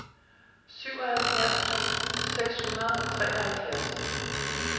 syvoghalvfjerds tusind seks hundrede og treoghalvfjerds